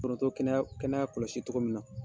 Foronto kɛnɛya kɛnɛya kɔlɔsi togo min na